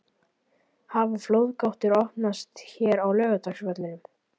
Hafa flóðgáttirnar opnast hér á Laugardalsvellinum??